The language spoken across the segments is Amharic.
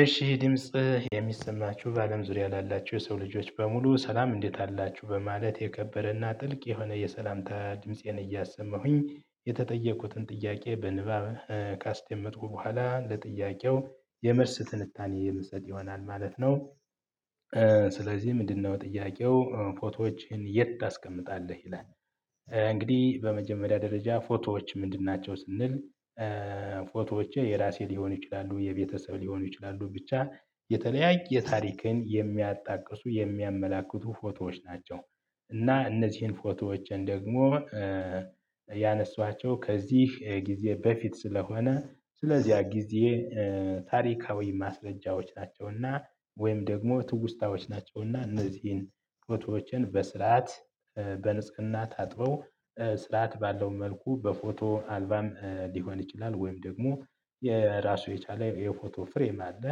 እሺ ድምጽ የሚሰማችሁ በአለም ዙሪያ ላላችሁ የሰው ልጆች በሙሉ ሰላም እንዴት አላችሁ በማለት የከበረና ጥልቅ የሆነ የሰላምታ ድምፄን እያሰማሁኝ የተጠየቁትን ጥያቄ በንባብ ካስደመጥኩ በኋላ ለጥያቄው የመልስ ትንታኔ የምሰጥ ይሆናል ማለት ነው። ስለዚህ ምንድነው ጥያቄው ፎቶዎችን የት ታስቀምጣለህ ይላል? እንግዲህ በመጀመሪያ ደረጃ ፎቶዎች ምንድን ናቸው ስንል? ፎቶዎች የራሴ ሊሆኑ ይችላሉ የቤተሰብ ሊሆኑ ይችላሉ ብቻ የተለያየ ታሪክን የሚያጣቅሱ የሚያመላክቱ ፎቶዎች ናቸው። እና እነዚህን ፎቶዎችን ደግሞ ያነሷቸው ከዚህ ጊዜ በፊት ስለሆነ ስለዚህ ያ ጊዜ ታሪካዊ ማስረጃዎች ናቸውና። ወይም ደግሞ ትውስታዎች ናቸውና እነዚህን ፎቶዎችን በስርዓት በንጽህና ታጥበው ስርዓት ባለው መልኩ በፎቶ አልበም ሊሆን ይችላል ወይም ደግሞ ራሱን የቻለ የፎቶ ፍሬም አለ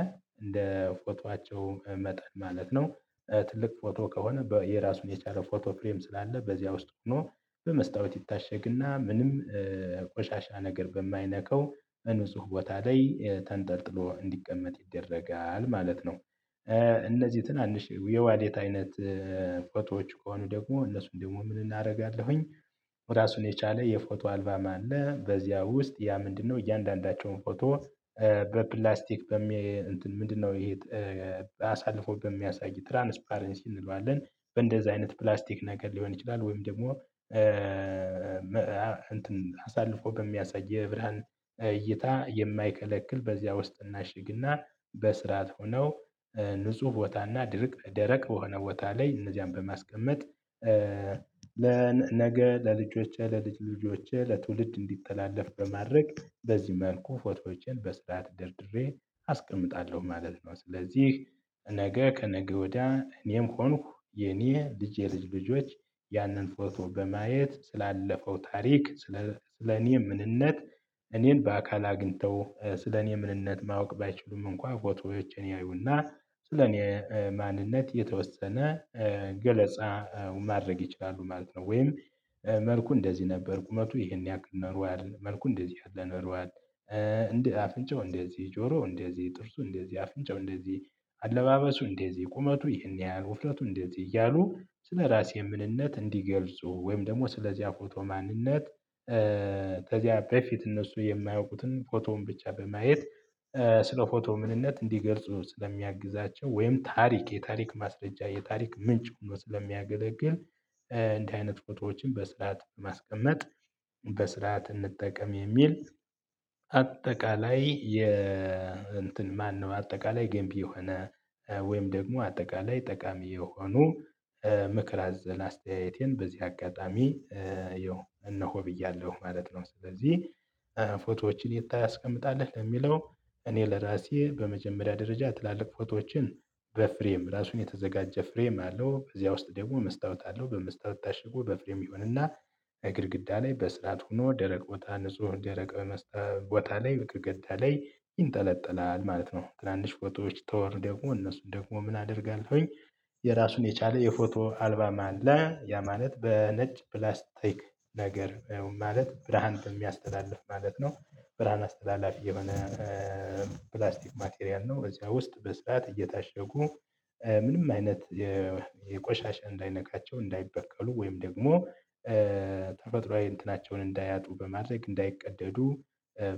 እንደ ፎቶአቸው መጠን ማለት ነው። ትልቅ ፎቶ ከሆነ እራሱን የቻለ ፎቶ ፍሬም ስላለ በዚያ ውስጥ ሆኖ በመስታወት ይታሸግና ምንም ቆሻሻ ነገር በማይነካው ንጹህ ቦታ ላይ ተንጠልጥሎ እንዲቀመጥ ይደረጋል ማለት ነው። እነዚህ ትናንሽ የዋሌት አይነት ፎቶዎች ከሆኑ ደግሞ እነሱን ደግሞ ምን አደርጋለሁኝ? ራሱን የቻለ የፎቶ አልበም አለ በዚያ ውስጥ ያ ምንድነው እያንዳንዳቸውን ፎቶ በፕላስቲክ በሚ እንትን ምንድነው ይሄ? አሳልፎ በሚያሳይ ትራንስፓረንስ እንለዋለን በእንደዚህ አይነት ፕላስቲክ ነገር ሊሆን ይችላል ወይም ደግሞ እንትን አሳልፎ በሚያሳይ የብርሃን እይታ የማይከለክል በዚያ ውስጥ እናሽግና በስርዓት ሆነው ንጹህ ቦታና ድርቅ ደረቅ በሆነ ቦታ ላይ እነዚያን በማስቀመጥ ለነገ ለልጆቼ ለልጅ ልጆቼህ ለትውልድ እንዲተላለፍ በማድረግ በዚህ መልኩ ፎቶዎችን በስርዓት ደርድሬ አስቀምጣለሁ ማለት ነው። ስለዚህ ነገ ከነገ ወዲያ እኔም ሆንኩ የኔ ልጄ ልጆች ያንን ፎቶ በማየት ስላለፈው ታሪክ ስለ እኔ ምንነት እኔን በአካል አግኝተው ስለኔ ምንነት ማወቅ ባይችሉም እንኳን ፎቶዎችን ያዩና ስለኔ ማንነት የተወሰነ ገለጻ ማድረግ ይችላሉ ማለት ነው። ወይም መልኩ እንደዚህ ነበር ቁመቱ ይሄን ያክል ኖሯል መልኩ እንደዚህ ያክል ኖሯል። እንደ አፍንጨው እንደዚህ ጆሮ እንደዚህ ጥርሱ እንደዚህ አፍንጫው እንደዚህ አለባበሱ እንደዚህ ቁመቱ ይህን ያያል ውፍረቱ እንደዚህ እያሉ ስለራሴ ምንነት እንዲገልጹ ወይም ደግሞ ስለዚያ ፎቶ ማንነት ከዚያ በፊት እነሱ የማያውቁትን ፎቶውን ብቻ በማየት ስለ ፎቶ ምንነት እንዲገልጹ ስለሚያግዛቸው ወይም ታሪክ የታሪክ ማስረጃ የታሪክ ምንጭ ሆኖ ስለሚያገለግል። እንዲህ አይነት ፎቶዎችን በስርዓት በማስቀመጥ በስርዓት እንጠቀም የሚል አጠቃላይ የ እንትን ማነው አጠቃላይ ገንቢ የሆነ ወይም ደግሞ አጠቃላይ ጠቃሚ የሆኑ ምክር አዘል አስተያየቴን በዚህ አጋጣሚ ይኸው እነሆ ብያለሁ ማለት ነው። ስለዚህ ፎቶዎችን የት ታስቀምጣለህ ለሚለው? እኔ ለራሴ በመጀመሪያ ደረጃ ትላልቅ ፎቶዎችን በፍሬም ራሱን የተዘጋጀ ፍሬም አለው በዚያ ውስጥ ደግሞ መስታወት አለው በመስታወት ታሽጎ በፍሬም ይሁንና ከግድግዳ ላይ በስርዓት ሆኖ ደረቅ ቦታ ንጹህ ደረቅ ቦታ ላይ በግድግዳ ላይ ይንጠለጠላል ማለት ነው። ትናንሽ ፎቶዎች ከሆኑ ደግሞ እነሱን ደግሞ ምን አደርጋለሁኝ? የራሱን የቻለ የፎቶ አልበም አለ ያ ማለት በነጭ ፕላስቲክ ነገር ማለት ብርሃን በሚያስተላልፍ ማለት ነው። ብርሃን አስተላላፊ የሆነ ፕላስቲክ ማቴሪያል ነው። በዚያ ውስጥ በስርዓት እየታሸጉ ምንም አይነት የቆሻሻ እንዳይነካቸው እንዳይበከሉ ወይም ደግሞ ተፈጥሮአዊ እንትናቸውን እንዳያጡ በማድረግ እንዳይቀደዱ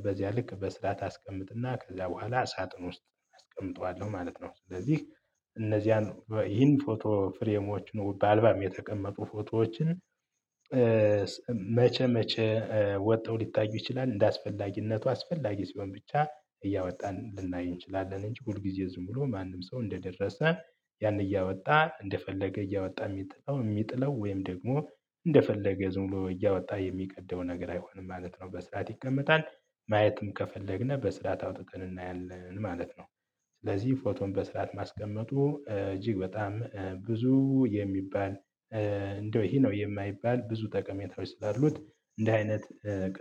በዚያ ልክ በስርዓት አስቀምጥና ከዛ በኋላ ሳጥን ውስጥ አስቀምጠዋለሁ ማለት ነው። ስለዚህ እነዚያን ይህን ፎቶ ፍሬሞች ነው በአልበም የተቀመጡ ፎቶዎችን መቼ መቼ ወጥተው ሊታዩ ይችላል እንደአስፈላጊነቱ አስፈላጊ ሲሆን ብቻ እያወጣን ልናይ እንችላለን። እንጂ ሁልጊዜ ዝም ብሎ ማንም ሰው እንደደረሰ ያን እያወጣ እንደፈለገ እያወጣ የሚጥለው የሚጥለው ወይም ደግሞ እንደፈለገ ዝም ብሎ እያወጣ የሚቀደው ነገር አይሆንም ማለት ነው። በስርዓት ይቀመጣል ማየትም ከፈለግነው በስርዓት አውጥተን እናያለን ማለት ነው። ስለዚህ ፎቶን በስርዓት ማስቀመጡ እጅግ በጣም ብዙ የሚባል እንደው ይሄ ነው የማይባል ብዙ ጠቀሜታዎች ስላሉት። እንዲ አይነት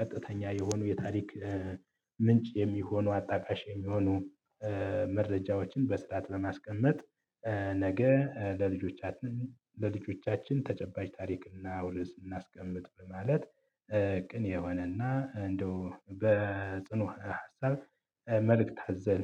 ቀጥተኛ የሆኑ የታሪክ ምንጭ የሚሆኑ አጣቃሽ የሚሆኑ መረጃዎችን በስርዓት ለማስቀመጥ ነገ ለልጆቻችን ለልጆቻችን ተጨባጭ ታሪክና ውርስ እናስቀምጥ በማለት ቅን የሆነና እንደው በጥኑ ሀሳብ መልእክት አዘል